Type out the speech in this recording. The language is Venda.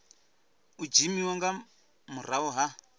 u dzimiwa nga murahu ha